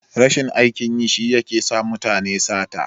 Rashin aikin yi shi yake sa mutane sata.